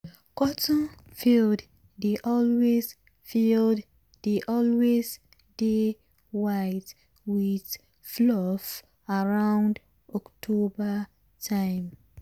cotton field dey always field dey always dey white with fluff around october time.